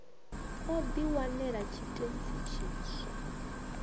o di wanela tshitentsi tshiswa